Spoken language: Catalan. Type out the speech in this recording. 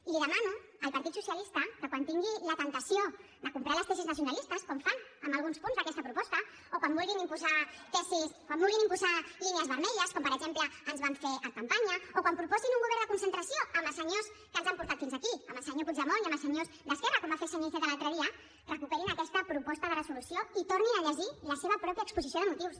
i li demano al partit socialista que quan tingui la temptació de comprar les tesis nacionalistes com fan en alguns punts d’aquesta proposta o quan vulguin imposar tesis quan vulguin imposar línies vermelles com per exemple ens van fer en campanya o quan proposin un govern de concentració amb els senyors que ens han portat fins aquí amb el senyor puigdemont i amb els senyors d’esquerra com va fer el senyor iceta l’altre dia recuperin aquesta proposta de resolució i tornin a llegir la seva pròpia exposició de motius